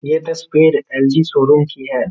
ये तस्वीर LG. Showroom की है।